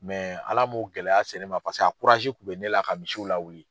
Ala m'o gɛlɛya se ne ma paseke a kun bɛ ne la ka misiw lawuli.